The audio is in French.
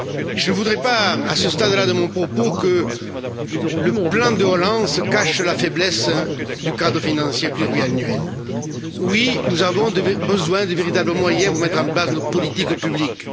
Je ne voudrais pas, à ce stade là de mon propos, que le plan de relance cache la faiblesse du cadre financier pluriannuel. Oui, nous avons besoin de véritables moyens pour mettre en place nos politiques publiques.